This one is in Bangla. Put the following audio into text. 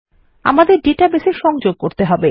আমাদের database এ সংযোগ করতে হবে